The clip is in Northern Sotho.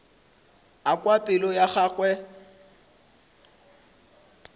a kwa pelo ya gagwe